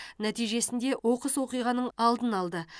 нәтижесінде оқыс оқиғаның алдын алды